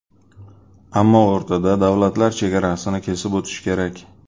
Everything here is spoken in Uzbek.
Ammo o‘rtada davlatlar chegarasini kesib o‘tish kerak.